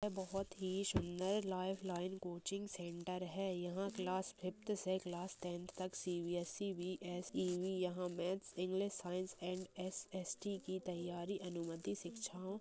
बहुत ही सुंदर लाइफ लाइन कोचिंग सेंटर है यहाँ क्लास फिफ्थ से क्लास टेन्थ तक सी.बी.एस.ई बी.एस.ई.बी. यहाँ maths English science and SST. की तैयारी अनुमति शिक्षाओ --